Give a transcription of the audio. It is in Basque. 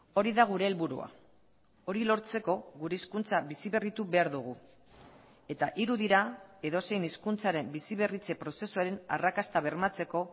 hori da gure helburua hori lortzeko gure hizkuntza biziberritu behar dugu eta hiru dira edozein hizkuntzaren biziberritze prozesuaren arrakasta bermatzeko